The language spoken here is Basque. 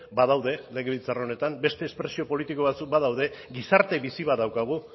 badaude legebiltzar honetan beste espresio politiko batzuk badaude gizarte bizi bat daukagu